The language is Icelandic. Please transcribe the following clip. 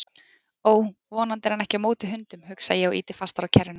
Ó, vonandi er hann ekki á móti hundum, hugsa ég og ýti fastar á kerruna.